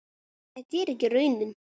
Þetta er ekki raunin.